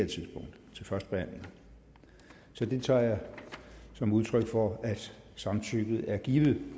til førstebehandlingen så det tager jeg som udtryk for at samtykket er givet